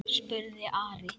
spurði Ari.